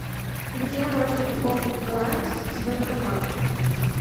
где можно пополнить баланс с банкомата